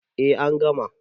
A an gama